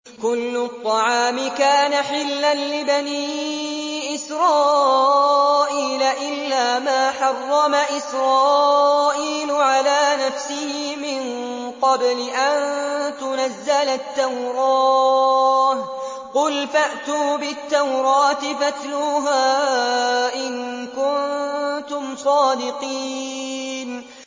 ۞ كُلُّ الطَّعَامِ كَانَ حِلًّا لِّبَنِي إِسْرَائِيلَ إِلَّا مَا حَرَّمَ إِسْرَائِيلُ عَلَىٰ نَفْسِهِ مِن قَبْلِ أَن تُنَزَّلَ التَّوْرَاةُ ۗ قُلْ فَأْتُوا بِالتَّوْرَاةِ فَاتْلُوهَا إِن كُنتُمْ صَادِقِينَ